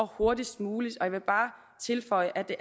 hurtigst muligt jeg vil bare tilføje at det